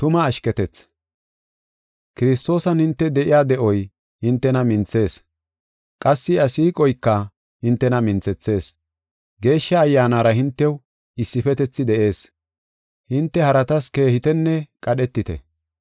Kiristoosan hinte de7iya de7oy hintena minthees; qassi iya siiqoyka hintena minthethees. Geeshsha Ayyaanara hintew issifetethi de7ees; hinte haratas keehetanne qadheteta.